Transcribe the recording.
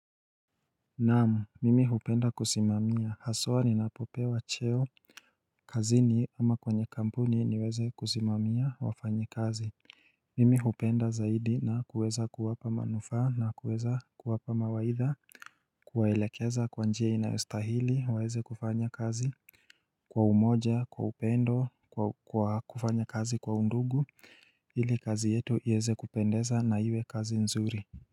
Naamu mimi hupenda kusimamia haswa ni napopewa cheo kazini ama kwenye kampuni niweze kusimamia wafanyi kazi Mimi hupenda zaidi na kuweza kuwapa manufaa na kuweza kuwapa mawaitha Kuwaelekeza kwanjia inayostahili waweze kufanya kazi Kwa umoja kwa upendo kwa kufanya kazi kwa undugu ili kazi yetu yeze kupendeza na iwe kazi nzuri.